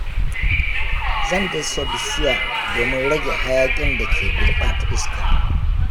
Zan dasa bishiya domin rage hayakin da ke gurɓata iska.